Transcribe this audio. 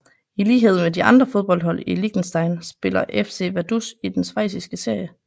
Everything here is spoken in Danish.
I lighed med de andre fodboldhold i Liechtenstein spiller FC Vaduz i den schweiziske serie